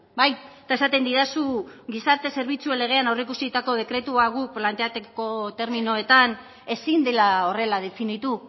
bai eta esaten didazu gizarte zerbitzuen legean aurreikusitako dekretua guk planteatuko terminoetan ezin dela horrela definitu